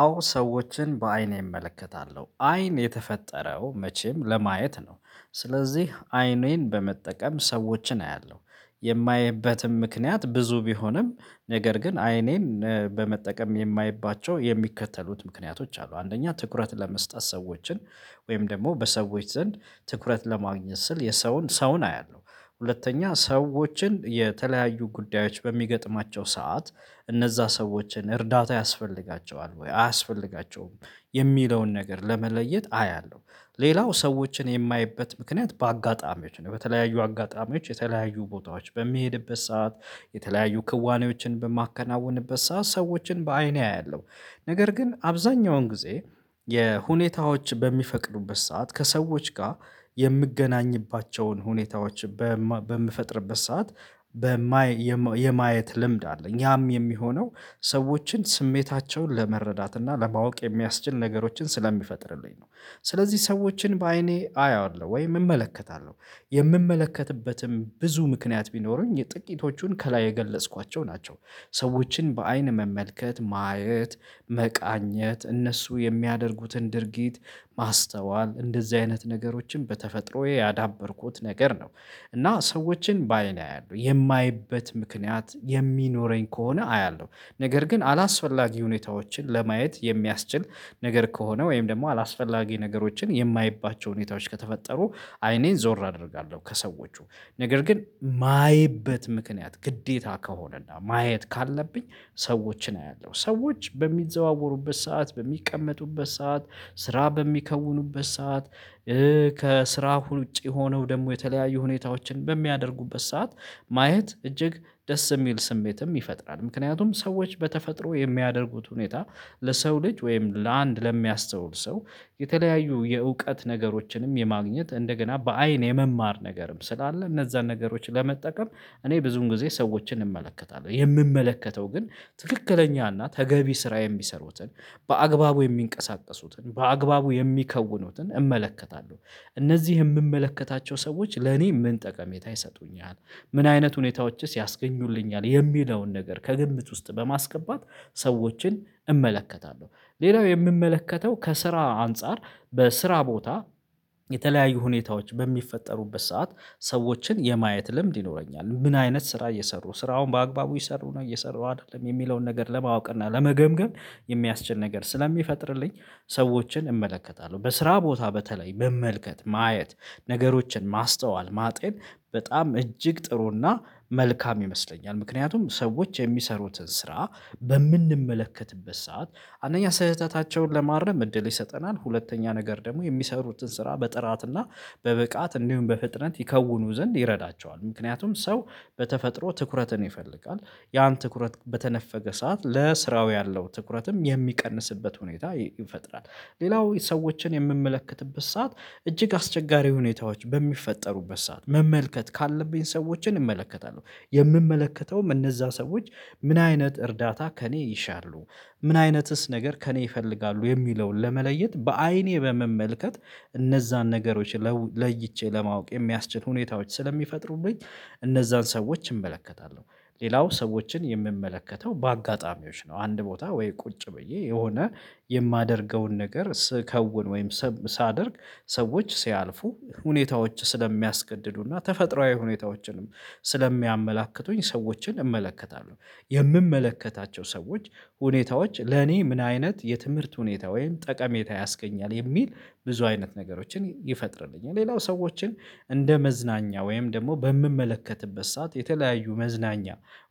አዎ ሰዎችን በአይኔ እመለከታለሁ አይን የተፈጠረው መቼም ለማየት ነው። ስለዚህ አይኔን በመጠቀም ሰዎችን አያለሁ። የማይበትም ምክንያት ብዙ ቢሆንም ነገር ግን አይኔን በመጠቀም የማይባቸው የሚከተሉት ምክንያቶች አሉ። አንደኛ ትኩረት ለመስጠት ሰዎችን ወይም ደሞ በሰዎች ዘንድ ትኩረት ለማግኘት ስል የሰውን ሰውን አያለሁ። ሁለተኛ ሰዎችን የተለያዩ ጉዳዮች በሚገጥማቸው ሰዓት እነዛ ሰዎችን እርዳታ ያስፈልጋቸዋል ወይ አያስፈልጋቸውም የሚለውን ነገር ለመለየት አያለሁ። ሌላው ሰዎችን የማየበት ምክንያት በአጋጣሚዎች ነው በተለያዩ አጋጣሚዎች የተለያዩ ቦታዎች በሚሄድበት ሰዓት የተለያዩ ክዋኔዎችን በማከናወንበት ሰዓት ሰዎችን በአይኔ አያለሁ። ነገር ግን አብዛኛውን ጊዜ የሁኔታዎች በሚፈቅዱበት ሰዓት ከሰዎች ጋ የምገናኝባቸውን ሁኔታዎች በምፈጥርበት ሰዓት። የማየት ልምድ አለኝ ያም የሚሆነው ሰዎችን ስሜታቸውን ለመረዳት እና ለማወቅ የሚያስችል ነገሮችን ስለሚፈጥርልኝ ነው። ስለዚህ ሰዎችን በአይኔ አያለሁ ወይ እመለከታለሁ የምመለከትበትም ብዙ ምክንያት ቢኖሩኝ ጥቂቶቹን ከላይ የገለጽኳቸው ናቸው። ሰዎችን በአይን መመልከት ማየት መቃኘት እነሱ የሚያደርጉትን ድርጊት ማስተዋል እንደዚህ አይነት ነገሮችን በተፈጥሮዬ ያዳበርኩት ነገር ነው። እና ሰዎችን በአይኔ አያለሁ የማይበት ምክንያት የሚኖረኝ ከሆነ አያለሁ። ነገር ግን አላስፈላጊ ሁኔታዎችን ለማየት የሚያስችል ነገር ከሆነ ወይም ደግሞ አላስፈላጊ ነገሮችን የማይባቸው ሁኔታዎች ከተፈጠሩ አይኔን ዞር አደርጋለሁ። ከሰዎቹ ነገር ግን እማይበት ምክንያት ግዴታ ከሆነና ማየት ካለብኝ ሰዎችን አያለሁ ሰዎች በሚዘዋወሩበት ሰዓት በሚቀመጡበት ሰዓት ስራ በሚከውኑበት ሰዓት። ከስራ ውጪ ሆነው ደግሞ የተለያዩ ሁኔታዎችን በሚያደርጉበት ሰዓት ማየት እጅግ ደስ እሚል ስሜትም ይፈጥራል። ምክንያቱም ሰዎች በተፈጥሮ የሚያደርጉት ሁኔታ ለሰው ልጅ ወይም ለአንድ ለሚያስተውል ሰው የተለያዩ የእውቀት ነገሮችንም የማግኘት እንደገና በአይን የመማር ነገርም ስላለ እነዛን ነገሮች ለመጠቀም እኔ ብዙን ጊዜ ሰዎችን እንመለከታለሁ የምመለከተው ግን ትክክለኛ እና ተገቢ ስራ የሚሰሩትን በአግባቡ የሚንቀሳቀሱትን በአግባቡ የሚከውኑትን እመለከታለሁ። እነዚህ የእምመለከታቸው ሰዎች ለእኔ ምንጠቀሜታ ይሰጡኛል ምን አይነት ሁኔታዎችስ ያስገኙልኛል የሚለውን ነገር ከግምት ውስጥ በማስገባት ሰዎችን እመለከታለሁ። ሌላው የእምመለከተው ከስራ አንፃር በስራ ቦታ የተለያዩ ሁኔታዎች በሚፈጠሩበት ሰዓት ሰዎችን የማየት ልምድ ይኖረኛል ምን አይነት ስራ እየሰሩ ስራውን በአግባቡ ይሰሩ ነው እየሰሩ አይደለም የሚለውን ነገር ለማወቅ እና ለመገምገም የሚያስችል ነገር ስለሚፈጥርልኝ። ሰዎችን እመለከታለሁ በስራ ቦታ በተለይ መመልከት ማየት ነገሮችን ማስተዋል ማጤን በጣም እጅግ ጥሩና መልካም ይመስለኛል። ምክንያቱም ሰዎች የሚሰሩትን ስራ በምንመለከትበት ሰዓት አንደኛ ስህተታቸውን ለማረም እድል ይሰጠናል ሁለተኛ ነገር ደግሞ የሚሰሩትን ስራ በጥራትና በብቃት እንዲሁም በፍጥነት ይከውኑ ዘንድ ይረዳቸዋል ምክንያቱም ሰው በተፈጥሮ ትኩረትን ይፈልጋል ያን ትኩረት በተነፈገ ሰዓት ለስራው ያለው ትኩረትም የሚቀንስበት ሁኔታ ይፈጥራል። ሌላው ሰዎችን የእምመለከትበት ሰዓት እጅግ አስቸጋሪ ሁኔታዎች በሚፈጠሩበት ሰዓት መመልከት ካለብኝ ሰዎችን እመለከታለሁ። የእምመለከተውም እነዛ ሰዎች ምን አይነት እርዳታ ከእኔ ይሻሉ ምን አይነትስ ነገር ከእኔ ይፈልጋሉ የሚለውን ለመለየት በአይኔ በመመልከት እነዛን ነገሮችን ለይቼ ለማወቅ የሚያስችል ሁኔታዎች ስለሚፈጥሩልኝ እነዛን ሰዎች እመለከታለሁ። ሌላው ሰዎችን የእምመለከተው በአጋጣሚዎች ነው አንድ ቦታ ወይ ቁጭ ብዬ የሆነ የማደርገውን ነገር ስከውን ወይም ሳደርግ ሰዎች ሲያልፉ ሁኔታዎች ስለሚያስገድዱና ተፈጥሮአዊ ሁኔታዎችንም ስለሚያመላክቱኝ ሰዎችን እመለከታለሁ። የእምመለከታቸው ሰዎች ሁኔታዎች ለኔ ምን አይነት የትምህርት ሁኔታ ወይም ጠቀሜታ ያስገኛል የሚል ብዙ አይነት ነገሮችን ይፈጥርልኛል ሌላው ሰዎችን እንደ መዝናኛ ወይም ደሞ በእምመለከትበት ሰዓት የተለያዩ መዝናኛ